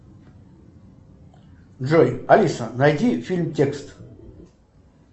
джой алиса найди фильм текст